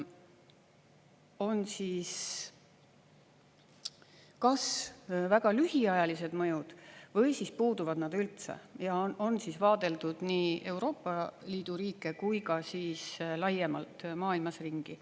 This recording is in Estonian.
On kas väga lühiajalised mõjud või puuduvad need üldse, on vaadeldud nii Euroopa Liidu riike kui ka laiemalt maailmas ringi.